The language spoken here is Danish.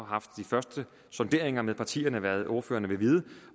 haft de første sonderinger med partierne om hvad ordførerne vil vide